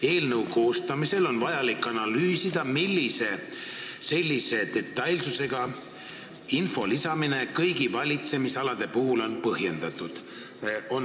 Eelnõu koostamisel on vajalik analüüsida, millise sellise detailsusega info lisamine kõigi valitsemisalade puhul on põhjendatud.